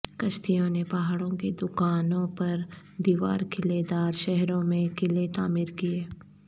کشتیوں نے پہاڑوں کی دکانوں پر دیوار قلعے دار شہروں میں قلعے تعمیر کیے